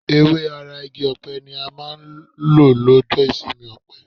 Ewé ara igi ọ̀pẹ ni a máa ń lò lọ́jọ́ ìsinmi ọ̀pẹ.